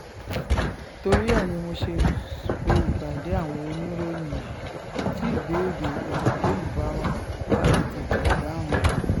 torí ẹ̀ ni mo ṣe pé ìpàdé àwọn oníròyìn yìí tí ìbéèrè èyíkéyìí bá wà ká lè tètè dáhùn ẹ̀